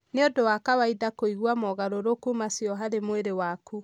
Nĩ ũndũ wa kawaida kũigua mogarũrũku macio harĩ mwĩrĩ waku.